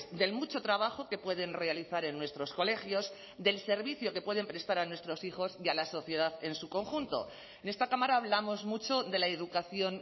del mucho trabajo que pueden realizar en nuestros colegios del servicio que pueden prestar a nuestros hijos y a la sociedad en su conjunto en esta cámara hablamos mucho de la educación